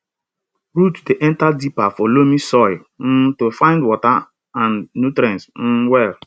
root dey enter deeper for loamy soil um to find water and nutrients um well